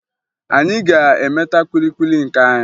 Anyị ga-emeta kwili kwili nke anyị